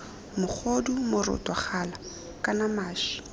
mogodu moroto gala kana maši